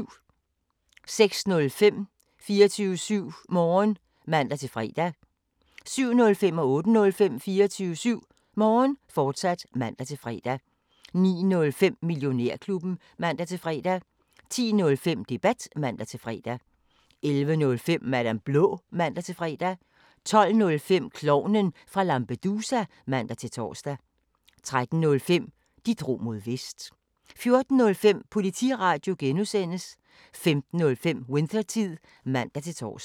06:05: 24syv Morgen (man-fre) 07:05: 24syv Morgen, fortsat (man-fre) 08:05: 24syv Morgen, fortsat (man-fre) 09:05: Millionærklubben (man-fre) 10:05: Debat (man-fre) 11:05: Madam Blå (man-fre) 12:05: Klovnen fra Lampedusa (man-tor) 13:05: De drog mod Vest 14:05: Politiradio (G) 15:05: Winthertid (man-tor)